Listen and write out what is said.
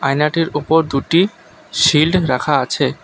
আয়নাটির ওপর দুটি শিল্ড রাখা আছে।